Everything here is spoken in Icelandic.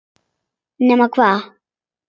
Nema hvað!